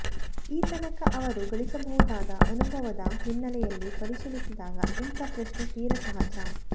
ಈ ತನಕ ಅವರು ಗಳಿಸಿರಬಹುದಾದ ಅನುಭವದ ಹಿನ್ನೆಲೆಯಲ್ಲಿ ಪರಿಶೀಲಿಸಿದಾಗ ಇಂಥ ಪ್ರಶ್ನೆ ತೀರ ಸಹಜ